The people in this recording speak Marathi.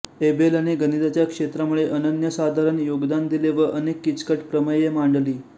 एबेलने गणिताच्या क्षेत्रामध्ये अनन्यसाधारण योगदान दिले व अनेक किचकट प्रमेये मांडली